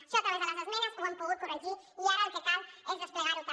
això a través de les esmenes ho hem pogut corregir i ara el que cal és desplegar ho també